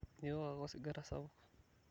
miok ake osigara sapuk